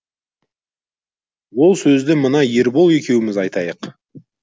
ол сөзді мына ербол екеуміз айтайық